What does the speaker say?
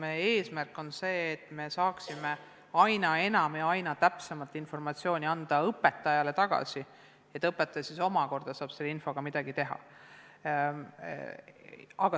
Meie eesmärk on see, et me saaksime anda õpetajale tagasi aina enam ja üha täpsemat informatsiooni, et õpetaja siis omakorda saaks selle infoga midagi teha.